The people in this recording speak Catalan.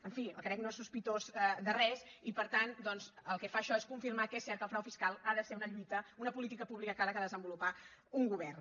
en fi el carec no és sospitós de res i per tant doncs el que fa això és confirmar que és cert que el frau fiscal ha de ser una lluita una polí·tica pública que ha de desenvolupar un govern